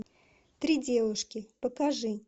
три девушки покажи